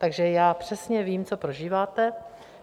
Takže já přesně vím, co prožíváte.